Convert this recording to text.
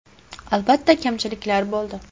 Albatta, kamchiliklar bo‘ldi.